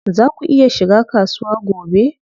Zaa ku iya shiga kasuwa gobe?